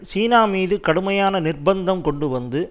சீனா மீது கடுமையான நிர்பந்தம் கொண்டு வந்து